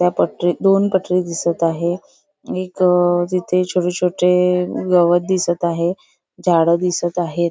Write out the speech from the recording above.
त्या पटरीत दोन पटरी दिसत आहे एक अं तिथे छोटे-छोटे गवत दिसत आहे झाड दिसत आहे.